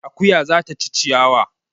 Akuya za ta ci ciyawa